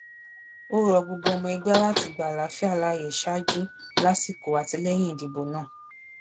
ó rọ gbogbo ọmọ ẹgbẹ láti gba àlàáfíà láàyè ṣáájú lásìkò àti lẹyìn ìdìbò náà